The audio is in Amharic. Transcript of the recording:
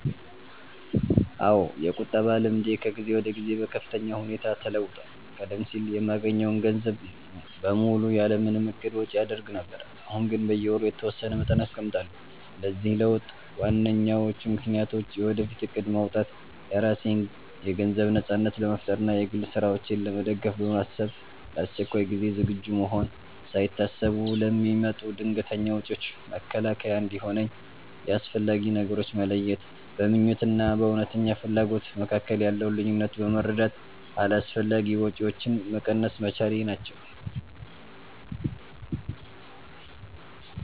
አዎ፣ የቁጠባ ልምዴ ከጊዜ ወደ ጊዜ በከፍተኛ ሁኔታ ተለውጧል። ቀደም ሲል የማገኘውን ገንዘብ በሙሉ ያለ ምንም እቅድ ወጪ አደርግ ነበር፤ አሁን ግን በየወሩ የተወሰነ መጠን አስቀምጣለሁ። ለዚህ ለውጥ ዋነኞቹ ምክንያቶች፦ የወደፊት እቅድ ማውጣት፦ የራሴን የገንዘብ ነጻነት ለመፍጠር እና የግል ስራዎቼን ለመደገፍ በማሰብ፣ ለአስቸኳይ ጊዜ ዝግጁ መሆን፦ ሳይታሰቡ ለሚመጡ ድንገተኛ ወጪዎች መከላከያ እንዲሆነኝ፣ የአስፈላጊ ነገሮች መለየት፦ በምኞት እና በእውነተኛ ፍላጎት መካከል ያለውን ልዩነት በመረዳት አላስፈላጊ ወጪዎችን መቀነስ መቻሌ ናቸው።